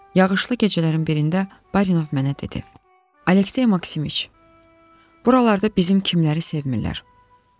Yağışlı gecələrin birində Barinov mənə dedi: "Aleksey Maksimoviç, buralarda bizim kimləri sevmirilər."